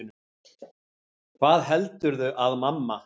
HVAÐ HELDURÐU AÐ MAMMA